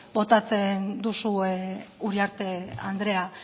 botatzen duzue uriarte andrea